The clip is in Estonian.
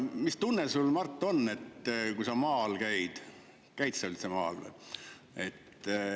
Mis tunne sul, Mart, on, kui sa maal käid – käid sa üldse maal?